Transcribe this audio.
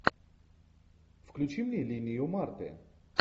включи мне линию марты